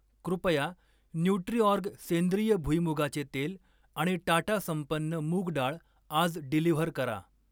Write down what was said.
कृपया न्यूट्रिऑर्ग सेंद्रिय भुईमुगाचे तेल आणि टाटा संपन्न मूग डाळ आज डिलिव्हर करा.